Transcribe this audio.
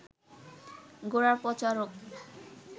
গোড়াপচা রোগ